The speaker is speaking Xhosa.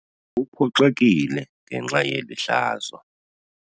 Uphoxekile ngenxa yeli hlazo.